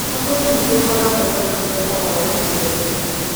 Maguna nĩ ĩkoragũo na ũtungata wa ũkuui wa ihenya.